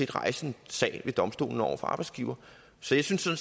rejse en sag ved domstolene over for arbejdsgiveren så jeg synes at